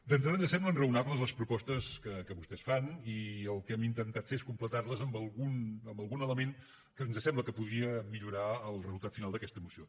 d’entrada ens semblen raonables les propostes que vostès fan i el que hem intentat fer és completar les amb algun element que ens sembla que podria millorar el resultat final d’aquesta moció